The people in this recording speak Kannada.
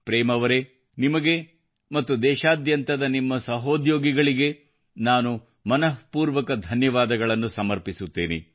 ಪ್ರೇಮ್ ಅವರೇ ನಿಮಗೆ ಮತ್ತು ದೇಶಾದ್ಯಂತದ ನಿಮ್ಮ ಸಹೋದ್ಯೋಗಿಗಳಿಗೆ ನಾನು ಮನಃಪೂರ್ವಕ ಪ್ರೇಮ್ ಧನ್ಯವಾದಗಳು ತಿಳಿಸುತ್ತೇನೆ